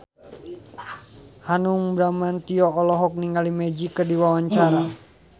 Hanung Bramantyo olohok ningali Magic keur diwawancara